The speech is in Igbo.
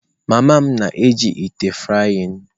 Mama m na-eji ite frying.